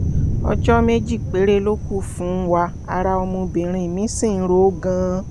ọjọ́ méjì péré ló kù fún wa ara ọmọbìnrin mi sì ń ro ó gan-an